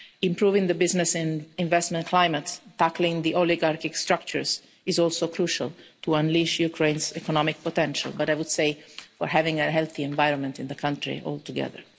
Improving the business and investment climate and tackling the oligarchic structures is also crucial to unleash Ukraine's economic potential, but I would say for having a healthy environment in the country altogether.